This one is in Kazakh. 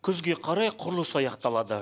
күзге қарай құрылыс аяқталады